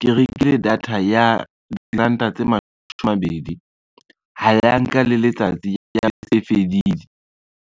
ke rekile data ya diranta tse mashome a mabedi, ha ya nka le letsatsi ya be e se fedile.